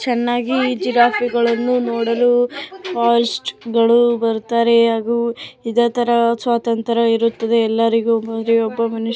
ಚೆನ್ನಾಗಿದೆ ಈ ಜಿರಾಫೆ ನೋಡಲು ಬರುತ್ತಾರೆ ಹಾಗು ಇದೇ ತರ ಸ್ವಾತಂತ್ರ್ಯ ಇರುತ್ತದೆ ಎಲ್ಲಾರಿಗೂ. ಪ್ರತಿಯೊಬ್ಬ ಮನುಷ್ಯ--